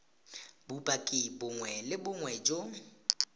bopaki bongwe le bongwe jo